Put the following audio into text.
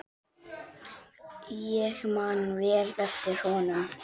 Ég man vel eftir honum.